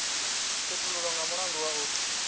khethululwa nga mulandu wa u